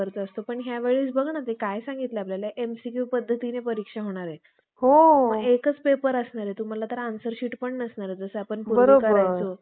त्यांचे बोलणे जर खरे मानावे. तर ब्रम्हा मेल्यानंतर ब्राम्हण आळातील कित्येक ब्रम्ह ऋषींनी अथवा, देव ऋषींनी केलेली सुप्ते, ब्राम्हणाच्या तोंडातून निघालेल्या वेदात